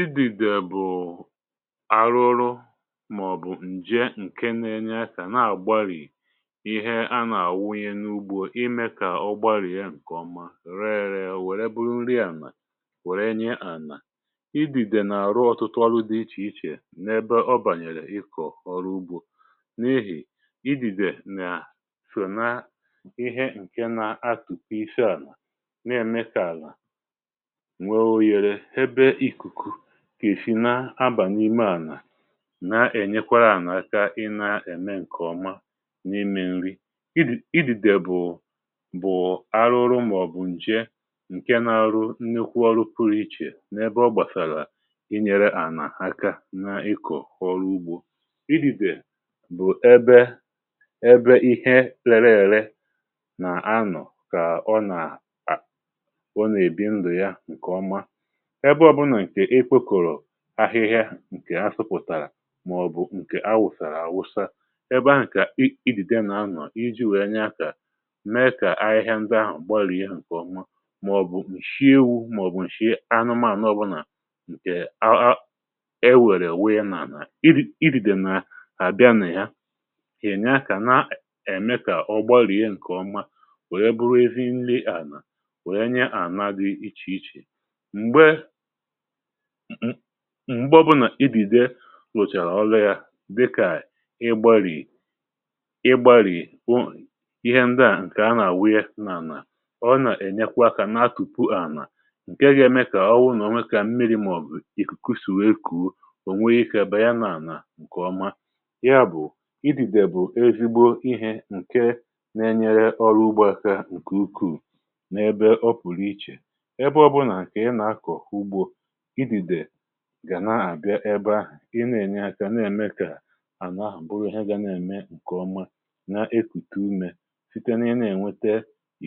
idìdè bụ̀ arụrụ màọ̀bụ̀ ǹje ǹke na-enye akȧ na-àgbarị̀ ihe a nà-àwụghị n’ugbu̇ imė kà ọ gbarì e ǹkè ọma ree ree um wère buru nri àmà wère nye ànà. idìdè n’àrụ ọ̀tụtụ ọrụ dị ichè ichè n’ebe ọ bànyèrè ịkọ̀ ọrụ ugbȯ n’ihì idìdè nà-àsụna ihe ǹke nà-atụ̀ ihe ise àlà n’ème kà àlà kà èsi na abà n’ime ànà na-ènyekwara ànà aka i na-ème ǹkè ọma n’ime nri i dì. idi̇dè bụ̀ bụ̀ arụrụ màọ̀bụ̀ nje ǹke na-arụ nni kwa ọrụ fụrụ ichè n’ebe ọ gbàsàlà i nyere ànà aka n’ikọ̀ ọrụ ugbȯ i dìbè bụ̀ ebe ebe ihe lele ère nà anọ̀ kà ọ nà à ọ nà-èbi nri̇ ya ǹkè ọma ahịhịa ahị̇ ǹkè a sụpụ̀tàrà màọ̀bụ̀ ǹkè awụ̀sàrà àwụsa ebe ahụ̀ kà idìde n’anọ̀ iji wèe nya um kà mee kà ahịhịa ndị ahụ̀ gbàrà ihe ǹkè ọma màọ̀bụ̀ nshiewu màọ̀bụ̀ nshie anụmȧànụ ọbụlà ǹkè ewèrè wèe na-ànà idìdè nà àbịa nà ya kènya kà na-ème kà ọ gbàrà ihe ǹkè ọma wèe bụrụ ezi nlee ànà wèe nye àna dị ichè ichè m m̀gbọ bụnà idèdè wụ̀chàrà ọlụ yȧ dịkà ịgbàrì ịgbàrì bụ ihe ndi à ǹkè anà-àwụ ye nà-ànà ọ nà-ènyekwa akȧ na-atùpù ànà ǹke ga-eme kà ọ wụ nà o nwekà mmiri um màọ̀bụ̀ kwusìrì wee kwuo ònweghị̇ ikė à bàa ya nà-ànà ǹkè ọma. ya bụ̀ idìdè bụ̀ ezigbo ihė ǹke na-enyere ọlụgbȧkȧ ǹkè ukwuu n’ebe ọ pụrụ ichè e bụ̇ ọbụnà ǹkè ị nà-akọ̀ fugu gà na-àbịa ebe ahụ̀ ịna-ènye akȧ na-èmekà àna ahụ̀ buru ihe ga na-ème ǹkèọma na-ekùtù umė site na-ihe na-ènwete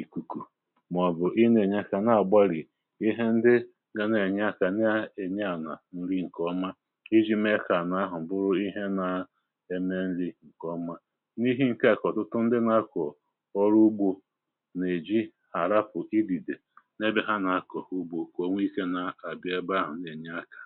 ìkùkù um màọ̀bụ̀ ịna-ènye akȧ na-àgbalì ihe ndị ga na-ènye akȧ na-ènye ànà nri ǹkèọma iji̇ mefè à n’ahụ̀ buru ihe na-eme nri ǹkèọma n’ihe ǹke akọ̀tụtụ ndị na-akọ̀ ọrụ ugbȯ nà-èji àràpụ̀ idìdè n’ebe ha na-akọ̀ ugbȯ ǹnyàkà.